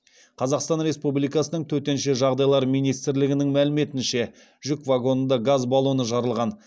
қазақстан республикасының төтенше жағдайлар министрлігінің мәліметінше жүк вагонында газ баллоны жарылған